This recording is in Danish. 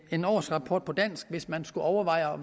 en årsrapport på dansk hvis man skulle overveje at